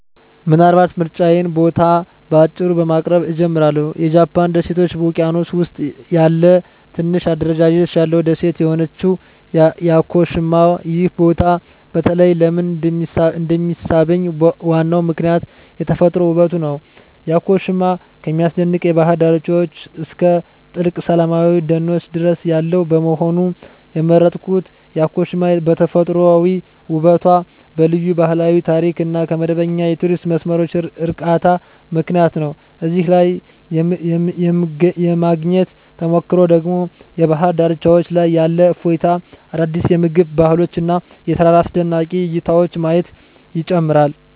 ምናልባት የምርጫዬን ቦታ በአጭሩ በማቅረብ እጀምራለሁ -የጃፓን ደሴቶች ውቅያኖስ ውስጥ ያለ ትንሽ አደረጃጀት ያለው ደሴት የሆነችው ያኮሺማ። ይህ ቦታ በተለይ ለምን እንደሚሳብኝ ዋናው ምክንያት የተፈጥሮ ውበቱ ነው። ያኮሺማ ከሚያስደንቅ የባህር ዳርቻዎች እስከ ጥልቅ ሰላማዊ ደኖች ድረስ ያለው በመሆኑ። የመረጥኩት ያኮሺማ በተፈጥሯዊ ውበቷ፣ በልዩ ባህላዊ ታሪክ እና ከመደበኛ የቱሪስት መስመሮች ርቃታ ምክንያት ነው። እዚያ ላይ የማግኘት ተሞክሮ ደግሞ በባህር ዳርቻዎች ላይ ያለ እፎይታ፣ አዳዲስ የምግብ ባህሎች እና የተራራ አስደናቂ እይታዎችን ማየት ይጨምራል።